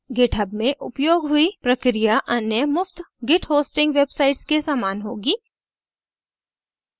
github में उपयोग हुई प्रक्रिया अन्य मुफ़्त git hosting websites के समान होगी